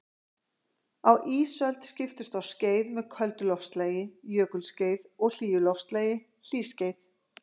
Á ísöld skiptust á skeið með köldu loftslagi, jökulskeið, og hlýju loftslagi, hlýskeið.